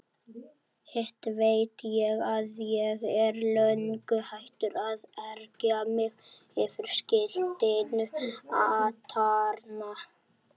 Hitt veit ég að ég er löngu hættur að ergja mig yfir skiltinu atarna.